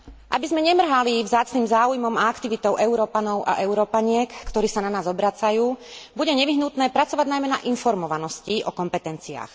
Aby sme nemrhali vzácnym záujmom a aktivitou Európanov a Európaniek, ktorí sa na nás obracajú, bude nevyhnutné pracovať najmä na informovanosti o kompetenciách.